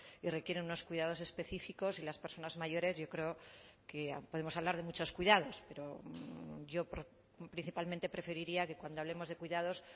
y requieren unos cuidados específicos y las personas mayores yo creo que podemos hablar de muchos cuidados pero yo principalmente preferiría que cuando hablemos de cuidados